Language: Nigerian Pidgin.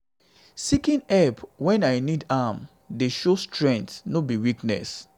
seeking help wen i i need am dey show strength no be weakness.